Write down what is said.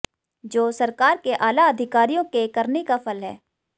जो सरकार के आला अधिकारियों के करनी का फल है